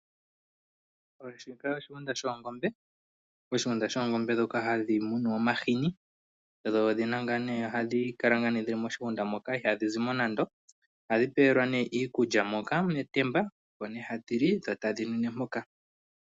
Shika oshigunda shoongombe, oshigunda shoongombe dhoka hadhimunwa molwa omahini dho odhina nga ne ohadhikala dhili moshigunda moka ihadhizimo nando, ohadhipelwa iikulya moka metemba Omo ne hadhili dho tadhinwine poka.